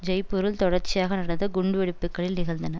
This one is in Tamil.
ஜெய்ப்பூரில் தொடர்ச்சியாக நடந்த குண்டுவெடிப்புக்களில் நிகழ்ந்தன